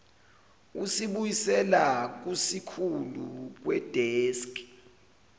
usibuyisela kusikhulu kwideski